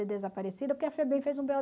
de desaparecido porque a FEBEM fez um bê ó